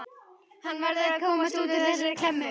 Hann verður að komast út úr þessari klemmu.